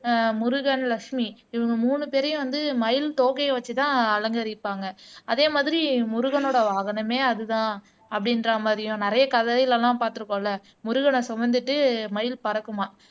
ஆஹ் முருகன் லட்சுமி இவங்க மூணு பேரையும் வந்து மயில் தோகையை வச்சுதான் அலங்கரிப்பாங்க அதே மாதிரி முருகனோட வாகனமே அதுதான் அப்படின்ற மாதிரியும் நிறைய கதையில எல்லாம் பார்த்திருக்கோம்ல முருகனை சுமந்துட்டு மயில் பறக்குமாம்